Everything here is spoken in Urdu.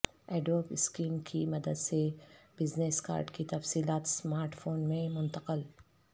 ایڈوب اسکین کی مدد سے بزنس کارڈ کی تفصیلات اسمارٹ فون میں منتقل